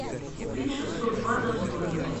купить шестьсот батов стоимость